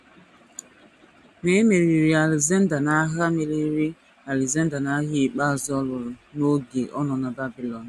Ma e meriri Alexander n’agha meriri Alexander n’agha ikpeazụ ọ lụrụ n’oge ọ nọ na Babilọn.